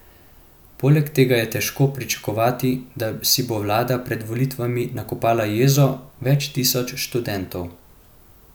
Poleg tega je težko pričakovati, da si bo vlada pred volitvami nakopala jezo več tisoč študentov.